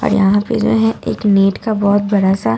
और यहां पे जो है एक नेट का बहोत बड़ा सा--